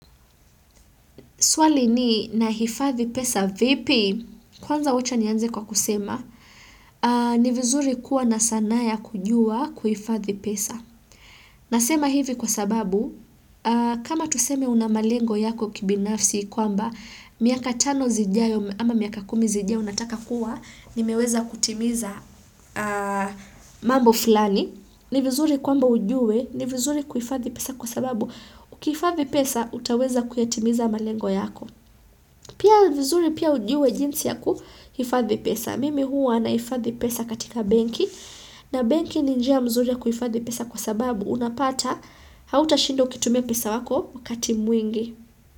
Swali ni na hifadhi pesa vipi? Kwanza wacha nianze kwa kusema, ni vizuri kuwa na sanaa ya kujua kuhifadhi pesa. Nasema hivi kwa sababu, kama tuseme unamalengo yako kibinafsi kwamba, miaka tano zijayo ama miaka kumi zijayo unataka kuwa, nimeweza kutimiza mambo fulani. Ni vizuri kwamba ujue, ni vizuri kuifadhi pesa kwa sababu ukihifadhi pesa, utaweza kuyatimiza malengo yako pia vizuri pia ujue jinsi yaku hifadhi pesa mimi huwa nahifadhi pesa katika benki na benki ni njia mzuri ya kuifadhi pesa kwa sababu unapata, hautashinda ukitumia pesa yako, wakati mwingi.